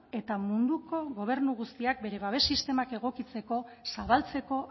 eta munduko beste gobernu guztiak bere babes sistemak egokitzeko zabaltzeko